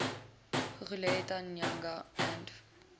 guguletu nyanga and